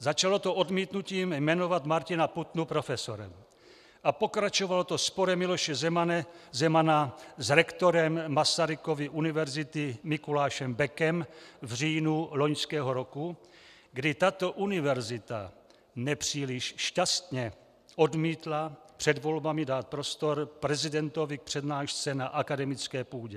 Začalo to odmítnutím, jmenovat Martina Putnu profesorem a pokračovalo to sporem Miloše Zemana s rektorem Masarykovy univerzity Mikulášem Bekem v říjnu loňského roku, kdy tato univerzita nepříliš šťastně odmítla před volbami dát prostor prezidentovi k přednášce na akademické půdě.